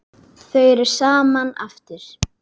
Þau eru saman aftur.